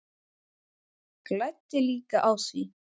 Græddi líka á því.